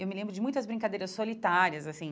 Eu me lembro de muitas brincadeiras solitárias, assim.